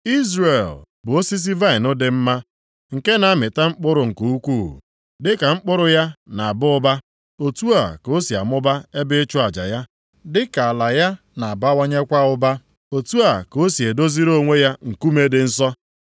Izrel bụ osisi vaịnị dị mma, nke na-amịta mkpụrụ nke ukwuu. Dịka mkpụrụ ya na-aba ụba, otu a ka o si amụba ebe ịchụ aja ya. Dịka ala ya na-abawanyekwa ụba otu a ka o si edoziri onwe ya nkume dị nsọ.